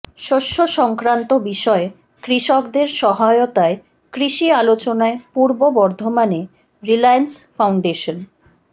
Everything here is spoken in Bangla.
শস্য সংক্রান্ত বিষয়ে কৃষকদের সহায়তায় কৃষি আলোচনায় পূর্ব বর্ধমানে রিলায়েন্স ফাউন্ডেশন